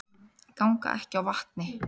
Ganga ekki á vatni